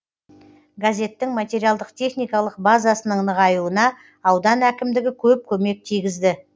газеттің материалдық техникалық базасының нығаюына аудан әкімдігі көп көмек тигізді